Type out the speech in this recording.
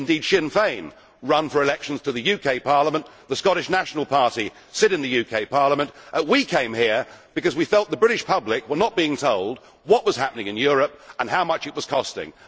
Indeed, Sinn Fein run for elections to the UK Parliament, and the Scottish National Party sit in the UK Parliament. We came here because we felt that the British public were not being told what was happening in Europe and how much it was costing.